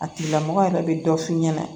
A tigila mɔgɔ yɛrɛ bɛ dɔ f'i ɲɛna